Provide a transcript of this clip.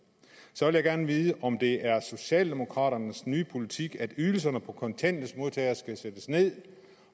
så vil jeg gerne vide om det er socialdemokraternes nye politik at ydelserne for kontanthjælpsmodtagere skal sættes ned